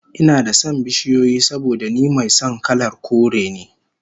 Ina da son bishiyoyi saboda ni mai son kalar kore ne